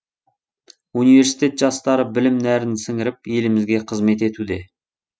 университет жастары білім нәрін сіңіріп елімізге қызмет етуде